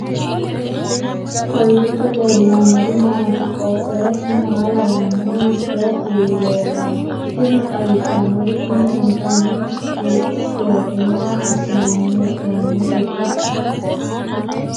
kowiicho leellannori maati ? qooxeessu maa lawaanno ? hiitoo kuuli leellanno ? tini xawissannori tini intanni chipiseeti maa assinanni hee'noonniteiikka